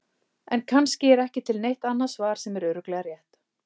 En kannski er ekki til neitt annað svar sem er örugglega rétt.